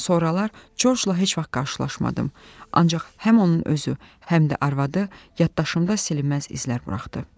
Sonralar Corcla heç vaxt qarşılaşmadım, ancaq həm onun özü, həm də arvadı yaddaşımda silinməz izlər buraxdı.